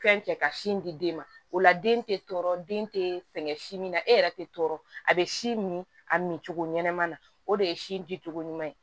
Fɛn kɛ ka sin di den ma o la den tɛ tɔɔrɔ den tɛ fɛn si min na e yɛrɛ tɛ tɔɔrɔ a bɛ si min a min cogo ɲɛnama na o de ye si di cogo ɲuman ye